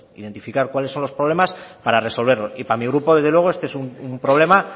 identificar cuáles son los problemas para resolverlos y para mi grupo desde luego este es un problema